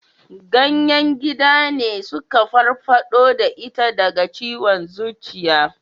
Ganyen gida ne suka farfado da ita daga ciwon zuciya